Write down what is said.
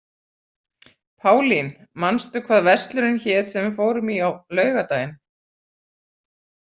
Pálín, manstu hvað verslunin hét sem við fórum í á laugardaginn?